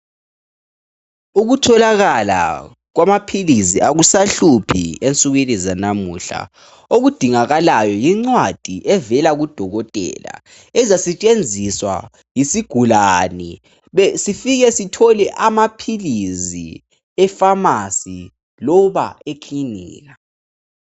Ukutholakala kwamaphilisi akusahluphi ensukwini zanamuhla okudingakalayo incwadi evela kudokotela ezisetshenziswa yisigulane sifike sithole amaphilisi efamasi loba ekilinika.